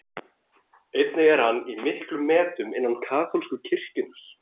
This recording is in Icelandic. Einnig er hann í miklum metum innan kaþólsku kirkjunnar.